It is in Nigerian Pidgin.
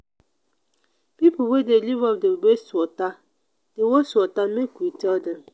pipo wey dey live up dey waste water dey waste water make we tell dem.